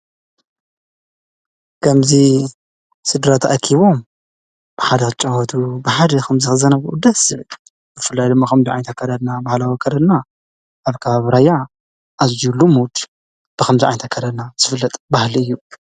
ከምዙ ስድራ ታኣኪቦም ብሓደ ኣጨወቱ ብሓደ ኸምዝኽዘነብኡ ደስ ብፍልይድመኸምዙ ኣይንታከደና በሃለ ወከደና ኣብ ካባ ኣብራያ ኣሉ ሙድ ብኸምዙ ዓይንታከረና ዝፍለጥ ባህል እዩ።